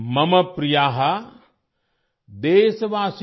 मम प्रिया देशवासिन